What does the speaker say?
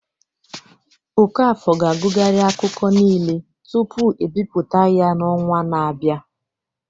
Okafor ga-agụgharị akụkọ niile tupu ebipụta ya n'ọnwa na-abịa